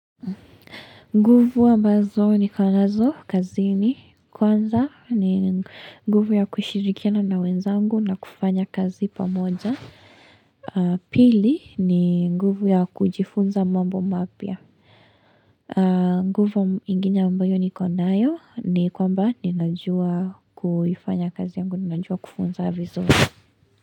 Nguvu ambazo niko nazo, kazini kwanza ni nguvu ya kushirikiana na wenzangu na kufanya kazi pamoja. Pili ni nguvu ya kujifunza mambo mapya. Nguvu ingine ambayo niko nayo ni kwamba ninajua kuifanya kazi yangu, ninajua kufunza.